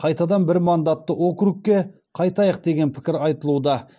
қайтадан бір мандатты округке қайтайық деген пікір айтылуда